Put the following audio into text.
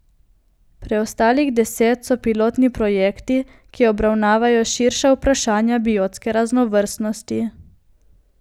Preostalih deset so pilotni projekti, ki obravnavajo širša vprašanja biotske raznovrstnosti.